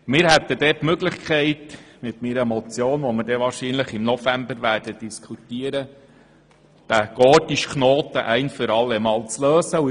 Wir hätten die Möglichkeit, mit meiner Motion, über die wir wahrscheinlich im November diskutieren werden, diesen gordischen Knoten ein für allemal zu lösen.